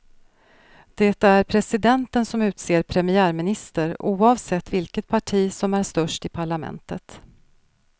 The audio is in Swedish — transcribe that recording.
Det är presidenten som utser premiärminister, oavsett vilket parti som är störst i parlamentet.